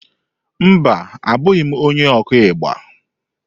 Mba, Abụghị m onye okú igba.